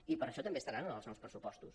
i per això també estaran en els nous pressupostos